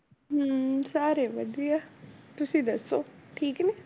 ਹਮ ਸਾਰੇ ਵਧੀਆ, ਤੁਸੀਂ ਦੱਸੋ ਠੀਕ ਨੇ?